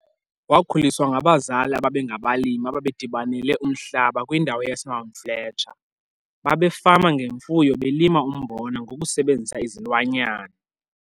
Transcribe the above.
Wakhuliswa ngabazali ababengabalimi ababedibanele umhlaba kwindawo yaseMount Fletcher. Babefama ngemfuyo belima umbona ngokusebenzisa izilwanyana.